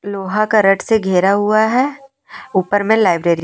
लोहा का रेट से घेरा हुआ है ऊपर में लाइब्रेरी --